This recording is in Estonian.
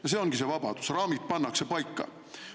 Ja see ongi see vabadus: raamid pannakse paika.